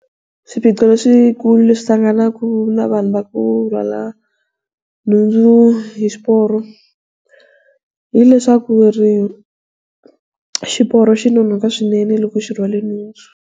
Swiphiqo leswikulu leswi hlanganaka na vanhu va ku rhwala nhundzu hi xiporo hileswaku ri xiporo xi nonoka swinene loko xi rhwale nhundzu.